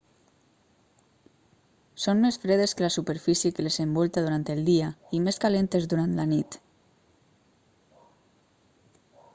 són més fredes que la superfície que les envolta durant el dia i més calentes durant la nit